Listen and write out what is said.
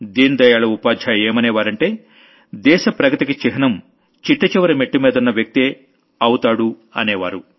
దీన్ దయాళ్ ఉపాధ్యాయ్ ఏమనేవారంటే దేశ ప్రగతికి చిహ్నం చిట్ట చివరి మెట్టుమీదున్న వ్యక్తే అవుతాడనేవారు